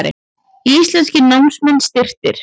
Íslenskir námsmenn styrktir